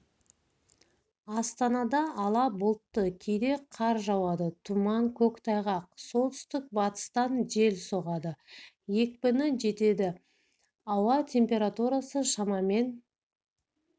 астанада ала бұлтты кейде қар жауады тұман көктайғақ солтүстік-батыстан жел соғады екпіні жетеді ауа температурасы шамамен